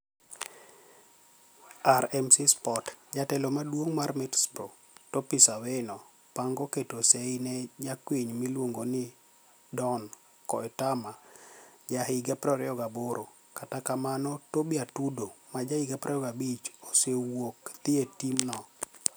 (RMC Sport)Jatelo maduonig mar Middlesbrought Tipis Awino panigo keto sei ni e jakwiniyo miluonigo nii Doni koetama ja higa 28 , kata kamano Toby Atudo ma ja higa 25, osewuok dhie tim no.